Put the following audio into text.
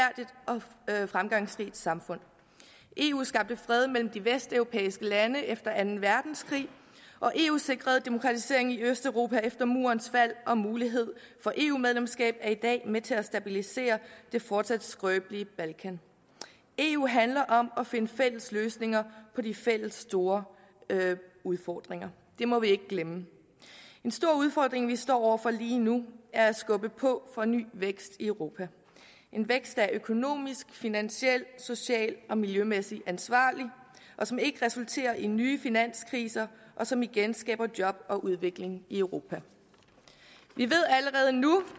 at og fremgangsrigt samfund eu skabte fred mellem de vesteuropæiske lande efter anden verdenskrig og eu sikrede demokratiseringen i østeuropa efter murens fald og mulighed for eu medlemskab er i dag med til at stabilisere det fortsat skrøbelige balkan eu handler om at finde fælles løsninger på de fælles store udfordringer det må vi ikke glemme en stor udfordring vi står over for lige nu er at skubbe på for ny vækst i europa en vækst der er økonomisk finansielt socialt og miljømæssigt ansvarlig og som ikke resulterer i nye finanskriser og som igen skaber job og udvikling i europa vi ved allerede nu